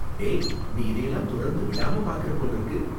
டேய், நீ இதையெல்லாம் தொடர்ந்து விடாம பாக்கற போலிருக்கு.